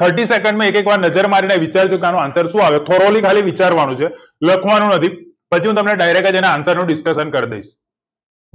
thirty second માં એક એક વાર નજર મારી ને વિચારજો આનો answer આવે formaly કલાઈ વિચારવા નું છે લખવા નું નથી પછી હું તમને direct જ આના answer નું discussion કરી દઈસ